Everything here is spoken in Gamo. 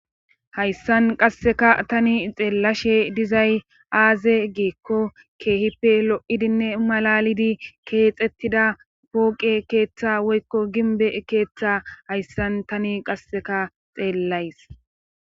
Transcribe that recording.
Hayssan qasseka tani xeellashe dizay aaze geekko keehippe lo7idinne malalidi keexettida pooqe keeththa woykko gimbe keeththa hayssan tani qasseka xeellays